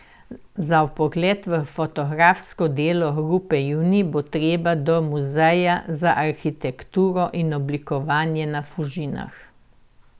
Za vpogled v fotografsko delo Grupe Junij bo treba do Muzeja za arhitekturo in oblikovanje na Fužinah.